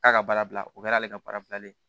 K'a ka baara bila o kɛra ale ka baara bilalen ye